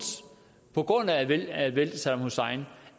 på grund af at væltet saddam hussein